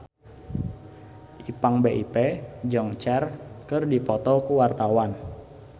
Ipank BIP jeung Cher keur dipoto ku wartawan